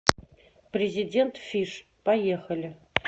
президент фиш поехали